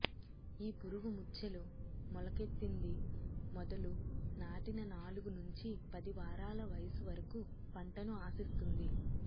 ఈ పురుగు ముచ్చెలు మొలకెత్తింది మొదలు నాటిన నాలుగు నుంచి పది వారాల వయసు వరకు పంటను ఆశిస్తుంది